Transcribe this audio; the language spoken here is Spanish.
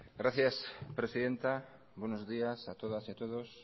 gracias presidenta buenos días a todas y a todos